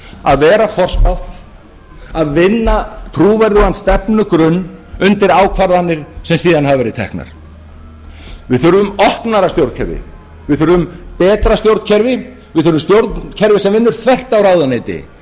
að vera forspátt að vinna trúverðugan stefnugrunn undir ákvarðanir sem síðan hafa verið teknar við þurfum opnara stjórnkerfi við þurfum betra stjórnkerfi við þurfum stjórnkerfi sem vinnur þvert á ráðuneyti en